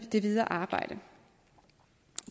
det videre arbejde